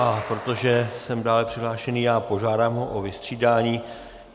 A protože jsem dále přihlášený já, požádám ho o vystřídání.